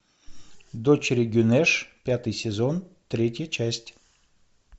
дочери гюнеш пятый сезон третья часть